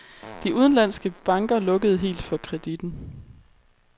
De udenlandske banker lukkede helt for kreditten.